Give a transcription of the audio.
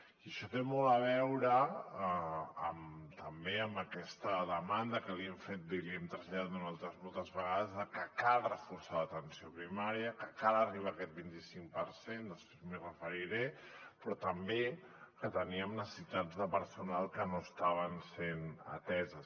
i això té molt a veure també amb aquesta demanda que li hem fet i li hem traslladat nosaltres moltes vegades de que cal reforçar l’atenció primària que cal arribar a aquest vint i cinc per cent després m’hi referiré però també que teníem necessitats de personal que no estaven sent ateses